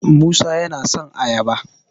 musa yana son ayaba